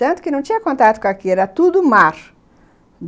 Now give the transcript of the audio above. Tanto que não tinha contato com aquilo, era tudo mar.